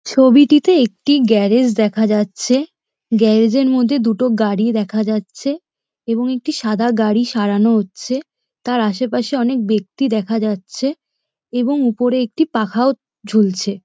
ছবিটিতে একটি গ্যারেজ দেখা যাচ্ছে গ্যারেজ এর মধ্যে দুটো গাড়ি দেখা যাচ্ছে এবং একটি সাদা গাড়ি সারানো হচ্ছে তার আশেপাশে অনেক ব্যক্তি দেখা যাচ্ছে এবং উপরে একটি পাখাও ঝুলছে।